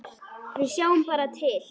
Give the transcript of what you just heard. Við sjáum bara til.